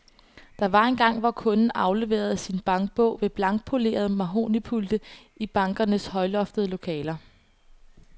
Der var engang, hvor kunden afleverede sin bankbog ved blankpolerede mahognipulte i bankernes højloftede lokaler.